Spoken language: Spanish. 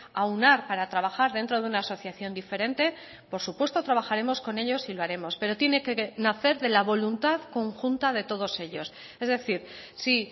aunar para trabajar dentro de una asociación diferente por supuesto trabajaremos con ellos y lo haremos pero tiene que nacer de la voluntad conjunta de todos ellos es decir sí